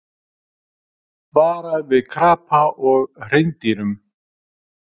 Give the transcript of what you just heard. Vara við krapa og hreindýrum